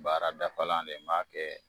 Baara dafalan de ye n b'a kɛ.